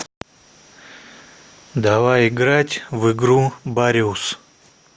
давай играть в игру бариус